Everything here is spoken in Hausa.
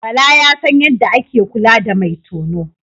Bala ya san yadda ake kula da mai tono.